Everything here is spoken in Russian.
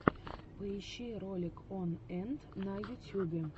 поищи ролик он энт на ютьюбе